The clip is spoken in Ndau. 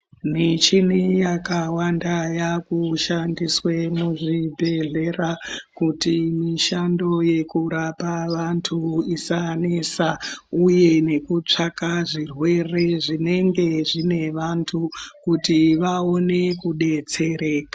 Michini yakawanda yakushandiswa muzvibhedhlera, kuti mishando yekurapa vantu isanesa uye nekutsvaka zvirwere zvinenge zvine vantu kuti vawone kudetsereka.